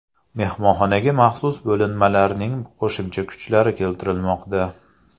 Mehmonxonaga maxsus bo‘linmalarning qo‘shimcha kuchlari keltirilmoqda.